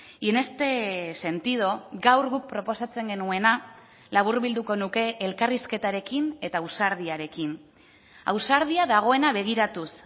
y en este sentido gaur guk proposatzen genuena laburbilduko nuke elkarrizketarekin eta ausardiarekin ausardia dagoena begiratuz